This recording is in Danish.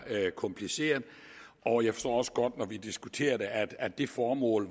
kompliceret og jeg forstår også godt når vi diskuterer det at det formål